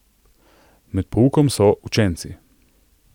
Med poukom so Učenci.